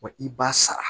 Wa i b'a sara